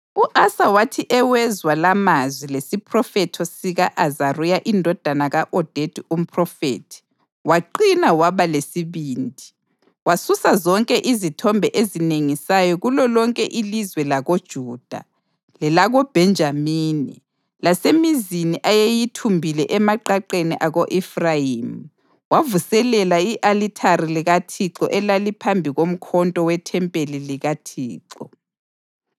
U-Asa wathi ewezwa lamazwi lesiphrofethi sika-Azariya indodana ka-Odedi umphrofethi, waqina waba lesibindi. Wasusa zonke izithombe ezinengisayo kulolonke ilizwe lakoJuda lelakoBhenjamini lasemizini ayeyithumbile emaqaqeni ako-Efrayimi. Wavuselela i-alithari likaThixo elaliphambi komkoto wethempeli likaThixo.